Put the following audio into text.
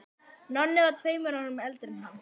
Nonni var tveimur árum eldri en hann.